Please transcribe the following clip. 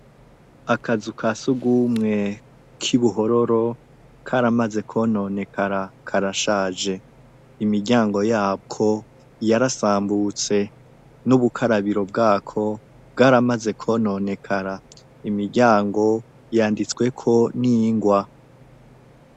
akazu kasugumwe k'ibuhororo karamaze kononekara karashaje imiryango yako yarasambutse n'ubukarabiro bwako bwaramaze kononekara imiryango yanditsweko n'ingwa